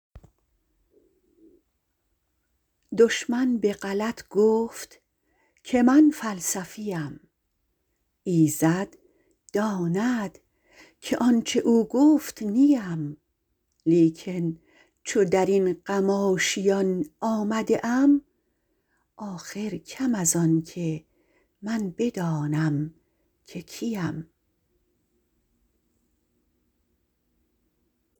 دشمن به غلط گفت که من فلسفی ام ایزد داند که آنچه او گفت نی ام لیکن چو در این غم آشیان آمده ام آخر کم از آنکه من بدانم که کی ام